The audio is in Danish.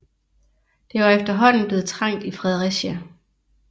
Der var efterhånden blevet trangt i Fredericia